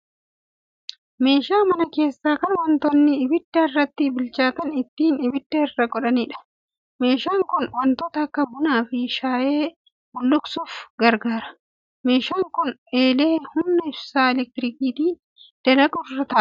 Meesha mana keessaa kan wantoota ibidda irratti bilchaataan ittiin ibidda irra godhaniidha. Meeshaan kun wantoota akka bunaa fi shaayee bulluqsuuf gargaara. Meeshaan kun eelee humna ibsaa 'elektirikiin' dalagu irra ta'aa jira.